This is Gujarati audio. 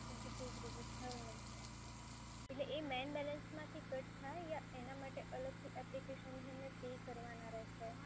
એટલે એ મેઈન બેલેન્સમાંથી કટ થાય યા એના માટે અલગથી એપ્લિકેશન